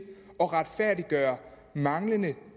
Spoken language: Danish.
at retfærdiggøre manglende